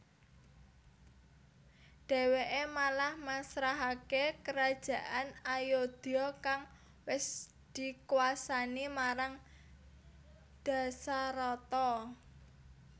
Dheweke malah masrahake Kerajaan Ayodya kang wis dikwasani marang Dasarata